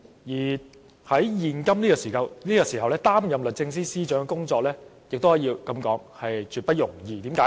況且，在現在這個時候，擔任律政司司長的工作也絕不容易，為甚麼？